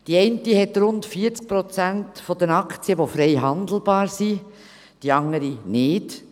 bei der einen sind rund 40 Prozent der Aktien frei handelbar, bei der anderen nicht;